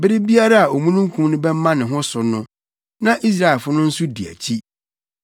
Bere biara a omununkum no bɛma ne ho so no, na Israelfo no nso di akyi.